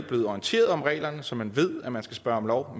blevet orienteret om reglerne så man ved at man skal spørge om lov